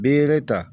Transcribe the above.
Bere ta